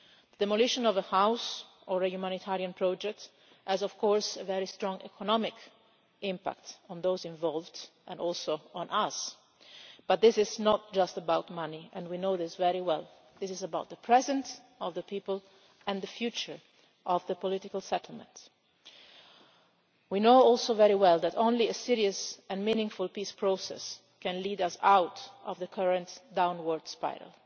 Demolition of a house or a humanitarian project has of course a very strong economic impact on those involved, and also on us, but this is not just about money and we know this very well this is about the present for the people and the future of the political settlements. We also know very well that only a serious and meaningful peace process can lead us out of the current downward spiral.